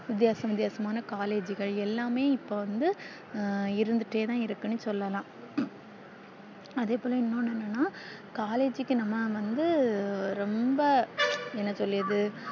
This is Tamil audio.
வித்யாசம் வித்யாசமான collage கள் எல்லாமே இப்போ வந்து இருந்துட்டே தான் இருக்குன்னு சொல்லல்லா அதே போல இன்னொன்னு என்னன்னா collage க்கு நம்ம வந்த ரொம்ப என்ன சொல்லியது